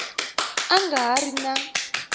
a nga ha ri na